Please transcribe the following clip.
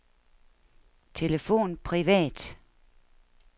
telefon privat